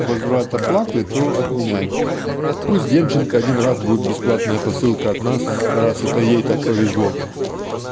возврат оплаты то отменяй пусть демченко один раз будет бесплатная посылка от нас раз это ей так повезло